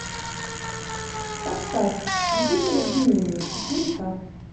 поставь свидетель обвинения четыре ка